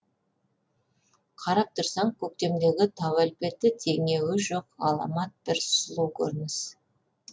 қарап тұрсаң көктемдегі тау әлпеті теңеуі жоқ ғаламат бір сұлу көрініс